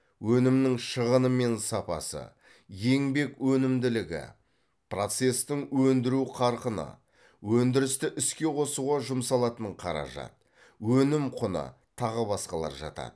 өнімнің шығыны мен сапасы еңбек өнімділігі процестің өндіру қарқыны өндірісті іске қосуға жұмсалатын қаражат өнім құны тағы басқалар жатады